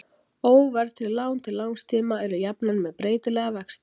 óverðtryggð lán til langs tíma eru jafnan með breytilega vexti